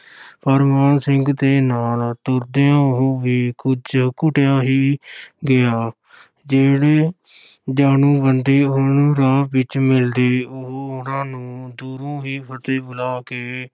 ਪਰ ਮਾਨ ਸਿੰਘ ਦੇ ਨਾਲ ਤੁਰਦਿਆਂ ਉਹ ਵੀ ਕੁੱਝ ਘੁਟਿਆ ਹੀ ਗਿਆ ਜਿਹੜੇ ਜਾਣੂ ਬੰਦੇ ਉਹਨੂੰ ਰਾਹ ਵਿੱਚ ਮਿਲਦੇ, ਉਹ ਉਹਨਾਂ ਨੂੰ ਦੂਰੋਂ ਹੀ ਫ਼ਤਿਹ ਬੁਲਾ ਕੇ